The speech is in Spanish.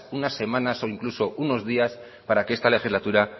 unas semanas o incluso unos días para que esta legislatura